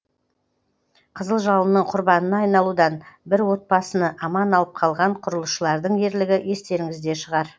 қызыл жалынның құрбанына айналудан бір отбасыны аман алып қалған құрылысшылардың ерлігі естеріңізде шығар